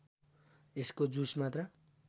यसको जुस मात्र